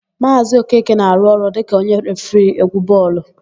Maazị Okeke na-arụ ọrụ dịka onye refiri égwú bọọlụ.